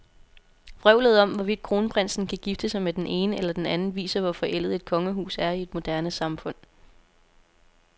Vrøvlet om, hvorvidt kronprinsen kan gifte sig med den ene eller den anden, viser, hvor forældet et kongehus er i et moderne samfund.